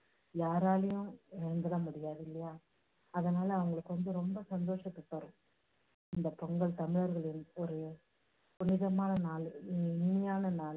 யாராலேயும் இழந்துட முடியாது இல்லையா? அதனால அவங்களுக்கு வந்து ரொம்ப சந்தோஷத்தை தரும். இந்த பொங்கல் தமிழர்களின் ஒரு புனிதமான நாள், இனிமையான நாள்.